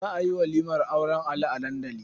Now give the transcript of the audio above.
Za a yi walimar auren Ali a dandali.